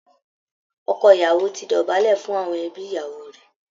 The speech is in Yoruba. Ọkọ ìyàwò ti dọ̀bálẹ̀ fún àwọn ẹbí ìyàwó rẹ̀